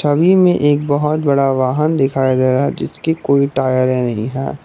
छवि में एक बहुत बड़ा वाहन दिखाई दे रहा है जिसकी कोई टायरे नहीं है।